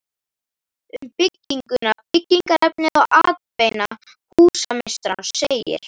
Um bygginguna, byggingarefnið og atbeina húsameistarans segir